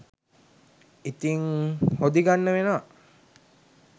ඉතිං හොදි ගන්න වෙනවා